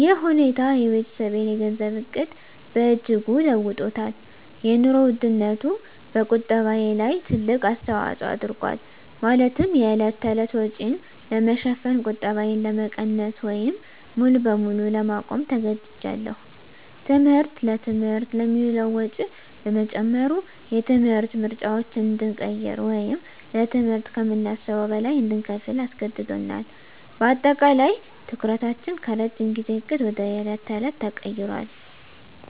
ይህ ሁኔታ የቤተሰቤን የገንዘብ ዕቅድ በእጅጉ ለውጦታል - የኑሮ ውድነቱ በቁጠባዬ ላይ ትልቅ አስተዋጽኦ አድርጓል፤ ማለትም የዕለት ተዕለት ወጪን ለመሸፈን ቁጠባዬን ለመቀነስ ወይም ሙሉ በሙሉ ለማቆም ተገድጃለሁ። ትምህርት: ለትምህርት የሚውለው ወጪ በመጨመሩ፣ የትምህርት ምርጫዎችን እንድንቀይር ወይም ለትምህርት ከምናስበው በላይ እንድንከፍል አስገድዶናል። በአጠቃላይ፣ ትኩረታችን ከረጅም ጊዜ ዕቅድ ወደ የዕለት ተዕለት ተቀይሯል።